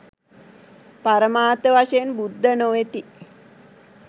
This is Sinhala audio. පරමාර්ථ වශයෙන් බුද්ධ නො වෙති